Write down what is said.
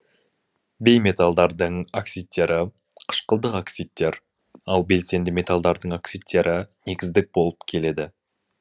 бейметалдардың оксидтері қышқылдық оксидтер ал белсенді металдардың оксидтері негіздік болып келеді